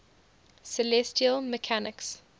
celestial mechanics